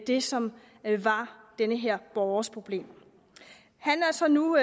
det som var den her borgers problem han er så nu